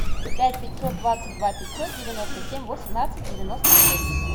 пять пятьсот двадцать два пятьсот девяносто семь восемнадцать девяносто шесть